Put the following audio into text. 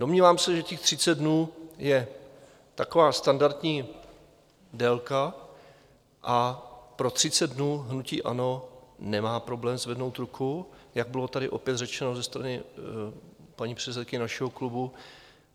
Domnívám se, že těch 30 dnů je taková standardní délka a pro 30 dnů hnutí ANO nemá problém zvednout ruku, jak bylo tady opět řečeno ze strany paní předsedkyně našeho klubu.